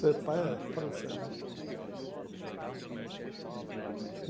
Ser pai é fora de série.